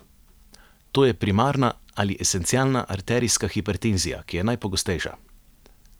To je primarna ali esencialna arterijska hipertenzija, ki je najpogostejša.